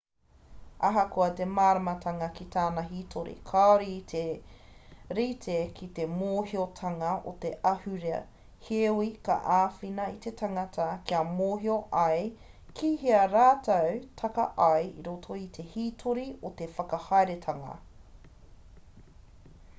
ahakoa te māramatanga ki tana hitori kāore i te rite ki te mōhiotanga o te ahurea heoi ka āwhina i te tangata kia mōhio ai kihea rātou taka ai i roto i te hītori o te whakahaeretanga